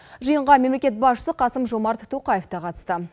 жиынға мемлекет басшысы қасым жомарт тоқаев та қатысты